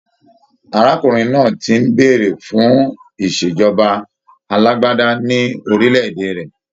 Arákùnrin náà ti ń béèrè fún ìṣèjọba alágbádá ní orílẹ̀-èdè rẹ.